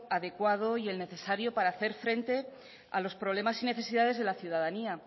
adecuado y el necesario para hacer frente a los problemas y necesidades de la ciudadanía